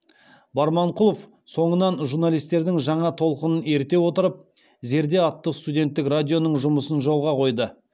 барманқұлов соңынан журналистердің жаңа толқынын еріте отырып зерде атты студенттік радионың жұмысын жолға қойды